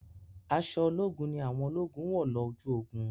Aṣọ ológun ni àwọn ológun wọ̀ lọ ojú ogun.